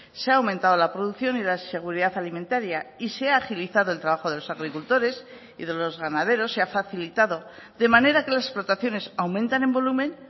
se ha aumentado la producción y la seguridad alimentaria y se ha agilizado el trabajo de los agricultores y de los ganaderos se ha facilitado de manera que las explotaciones aumentan en volumen